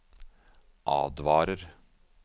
advarer